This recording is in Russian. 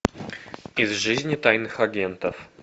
из жизни тайных агентов